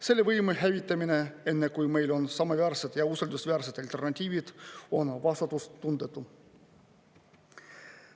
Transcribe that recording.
Selle võime hävitamine, enne kui meil on samaväärsed ja usaldusväärsed alternatiivid, on vastutustundetu.